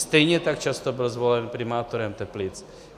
Stejně tak často byl zvolen primátorem Teplic.